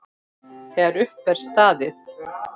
Þegar upp er staðið?